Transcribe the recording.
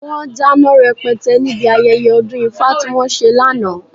Wọ́n dáná rẹpẹtẹ níbi ayẹyẹ ọdún ifá tí wọ́n ṣe lánàá.